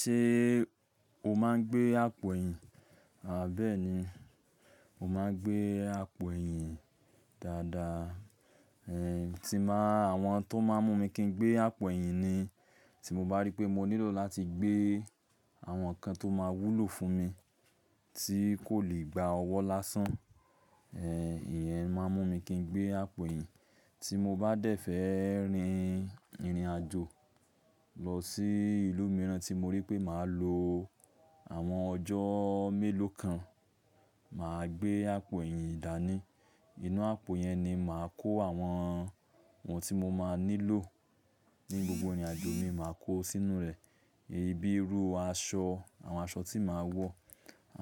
Ṣé o máa ń gbé àpò ẹ̀yìn? Bẹ́ẹ́ni, mo máa ń gbé àpò ẹ̀yìn dáadáa. Ẹ̀hì, tí n ba, àwọn tó máa ń mú mi kin gbé àpò ẹ̀yìn ni tí mo bá rí pé mo nílò láti gbé àwọn ǹkan tó máa wúlò fún mi tí kò lè gba ọwọ́ lásán. Ẹ̀hì, ìyẹn máa ń mú mi kin gbé àpò ẹ̀yìn. Tí mo bá dẹ̀fẹ̀ rin ìrìnàjò lọ sí ìlú mìíràn tí mo rí pé màá lo àwọn ọjọ́ mélòó kan, màá gbé àpò ẹ̀yìn dání. Inú àpò yẹn ni màá kó àwọn ohun tí mo máa nílò ní gbogbo ìrìnàjò mi, màá kó sínú rẹ̀. Bíi irú aṣọ, àwọn aṣọ tí màá wọ̀,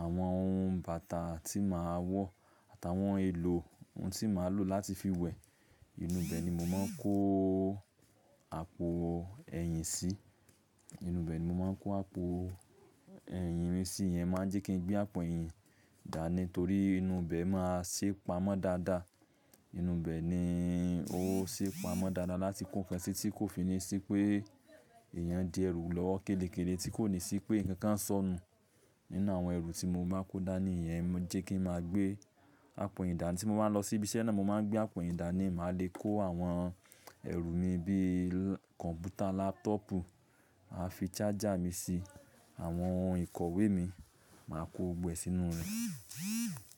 àwọn ohun bàtà tí màá wọ̀, àtàwọn èlò ohun tí màá lò láti fi wẹ̀. Ìnú ibẹ̀ ni mo máa ń kó àpò ẹ̀yìn sí. Ìnú ibẹ̀ ni mo máa ń kó àpò ẹ̀yìn mi sí. Ìyẹn máa ń jẹ́ kin gbé àpò ẹ̀yìn dání torí inù bẹ̀ máa ṣé pamọ́ dáadáa. Ìnú ibẹ̀ ni ó ṣé pamọ́ dáadáa láti kó ǹkan sí tí kò fi ní sí pé eeyan n di ẹrù lọwo kélékélé, tí kò ní sí pé ǹkan kań sọnù nínú àwọn ẹrù tí mo ba kó dání. Ìyẹn lo jẹ́ kí n máa gbé àpò eyin dání. Tí mo bá n lọ sí ibi iṣẹ́ náà, mo máa ń gbé àpò eyin dání, màá le kó àwọn ẹrù mi bí kọ̀ǹpútà, lápútọ̀pù, màá fi charger mi sí, àwọn ohun ìkọ̀wé mi, màá kó gbogbo ẹ̀ sínú rẹ̀.